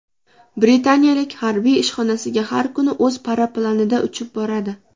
Britaniyalik harbiy ishxonasiga har kuni o‘z paraplanida uchib boradi .